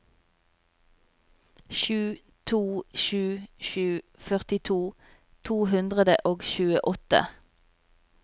sju to sju sju førtito to hundre og tjueåtte